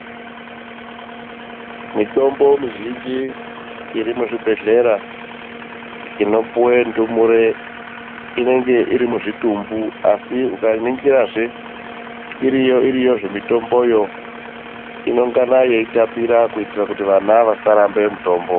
Mitombo mizhinji iri muzvibhedhlera inopuwe ndumure inenge iri muzvitumbu asi ukaningirazve iriyo iriyo zvemitomboyo inongana yeitapira kuitira kuti vana vasaramba mitombo.